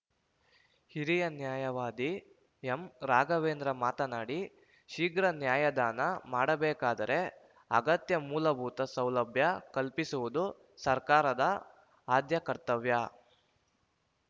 ಹಿರಿಯ ನ್ಯಾಯವಾದಿ ಎಂರಾಘವೇಂದ್ರ ಮಾತನಾಡಿ ಶೀಘ್ರ ನ್ಯಾಯದಾನ ಮಾಡಬೇಕಾದರೆ ಅಗತ್ಯ ಮೂಲಭೂತ ಸೌಲಭ್ಯ ಕಲ್ಪಿಸುವುದು ಸರ್ಕಾರದ ಆದ್ಯ ಕರ್ತವ್ಯ